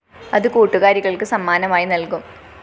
അത് കൂട്ടുകാരികള്‍ക്ക് സമ്മാനമായി നല്‍കും